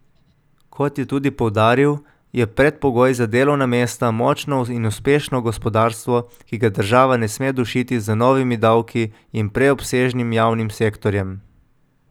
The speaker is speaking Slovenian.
Kot je tudi poudaril, je predpogoj za delovna mesta močno in uspešno gospodarstvo, ki ga država ne sme dušiti z novimi davki in preobsežnim javnim sektorjem.